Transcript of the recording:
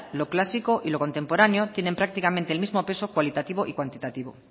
lo clásico y lo contemporáneo tienen prácticamente el mismo peso cualitativo y cuantitativo